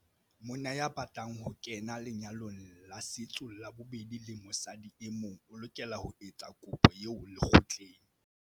Monna ya batlang ho kena lenyalong la setso la bobedi le mosadi e mong o lokela ho etsa kopo eo lekgotleng.